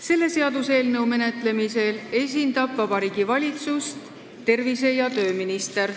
Selle seaduseelnõu menetlemisel esindab Vabariigi Valitsust tervise- ja tööminister.